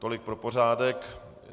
Tolik pro pořádek.